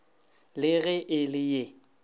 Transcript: le ge e le ye